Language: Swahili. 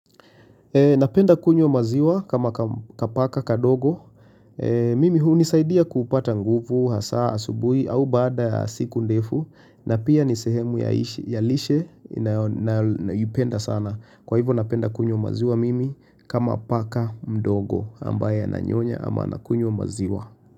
Napenda kunywa maziwa kama kapaka kadogo. Mimi hunisaidia kupata nguvu, hasaa, asubuhi, au baada ya siku ndefu. Na pia ni sehemu ya lishe ninayoipenda sana. Kwa hivyo napenda kunywa maziwa mimi kama paka mdogo ambaye ananyonya ama anakunywa maziwa.